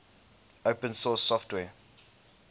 open source software